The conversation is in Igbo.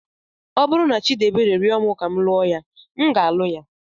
Ọ bụrụ na Chidiebere rịọ m ka m lụọ ya, m ga-alụ ya.